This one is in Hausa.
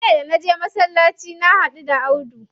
Jiya da naje masallaci na haɗu da Audu.